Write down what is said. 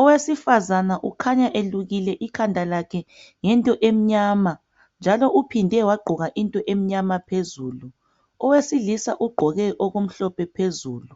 owesifazana ukhanya elukile ikhanda lakhe ngento emnyama njalo uphinde wagqoka into emnyama phezulu ,owesilisa ugqoke okumhlophe phezulu